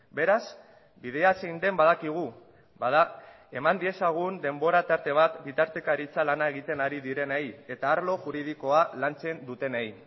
beraz bidea zein den badakigu bada eman diezagun denbora tarte bat bitartekaritza lana egiten ari direnei eta arlo juridikoa lantzen dutenei